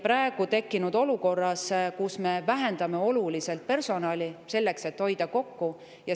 Praegu me vähendame oluliselt personali, selleks et hoida kokku.